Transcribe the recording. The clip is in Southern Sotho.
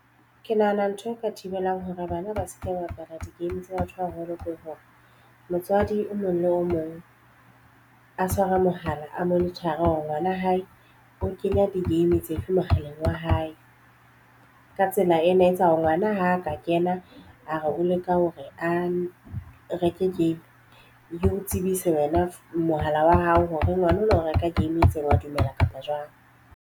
Ke nahana ntho eo ka thibelang hore bana ba se ke ba bapala di-game tsa batho ba baholo ke hore motswadi o mong le o mong a tshware mohala a monitor-re hore ngwana hae o kenya di-game tse fe mohaleng wa hae ka tsela ena e etsa hore ngwana ha a ka kena a re o leka hore a reke game e o tsebise wena mohala wa hao hore ngwana o lo reka game e itseng wa dumela kapa jwang.